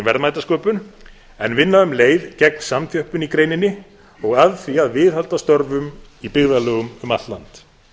verðmætasköpun en vinna um leið gegn samþjöppun í greininni og að því að viðhalda störfum í byggðarlögum um allt land